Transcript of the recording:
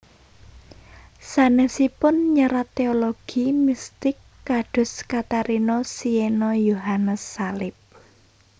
Sanèsipun nyerat teologi mistik kados Katarina Siena Yohanes Salib